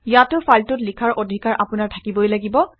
ইয়াতো ফাইলটোত লিখাৰ অধিকাৰ আপোনাৰ থাকিবই লাগিব